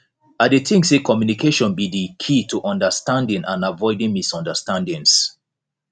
i dey think say communication be di key to understanding and avoiding misunderstandings